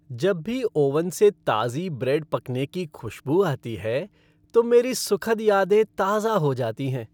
जब भी ओवन से ताज़ी ब्रेड पकने की खुश्बू आती है तो मेरी सुखद यादें ताज़ा हो जाती हैं।